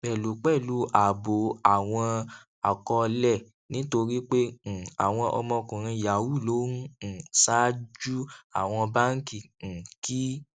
pẹlupẹlu ààbò àwọn akọọlẹ nítorí pé um àwọn ọmọkùnrin yahoo ló ń um ṣáájú àwọn báńkì um kì í